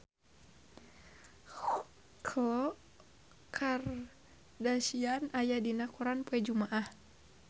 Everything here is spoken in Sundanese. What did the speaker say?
Khloe Kardashian aya dina koran poe Jumaah